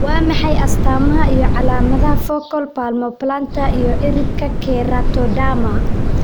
Waa maxay astamaha iyo calaamadaha Focal palmoplantar iyo ciridka keratoderma?